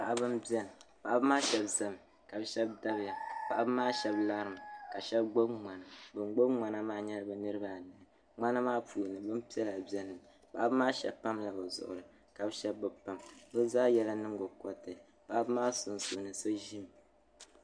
Paɣiba m-beni paɣiba maa shɛba ʒimi ka bɛ shɛba dabiya. Paɣiba maa shɛba larimi ka shɛba gbibi ŋmana. Ban gbibi ŋmana maa nyɛla bɛ niriba ayi. Ŋmana maa puuni bimpiɛla beni. Paɣiba maa shɛba pamla bɛ zuɣiri ka bɛ shɛba bi pam. Bɛ zaa yɛla nyiŋgokɔriti. Paɣiba maa sunsuuni so ʒimi.